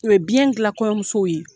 U ye biɲɛn gilan kɔɲɔmusow ye.